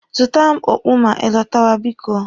Zụtara m okpu ma ị lọtawa biko.